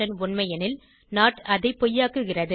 உண்மை எனில் நோட் அதை பொய்யாக்குகிறது